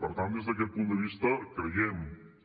per tant des d’aquest punt de vista creiem